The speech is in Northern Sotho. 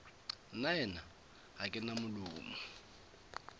nnaena ga ke na molomo